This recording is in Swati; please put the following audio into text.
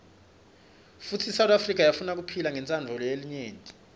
futsi isouth afrika yafunakuphila ngontsandvo yelinyenti